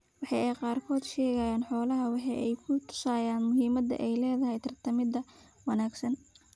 Waxa ay qaarkood ka sheegaan xoolahooda waxa ay ku tusaysaa muhiimadda ay leedahay tarminta wanaagsan.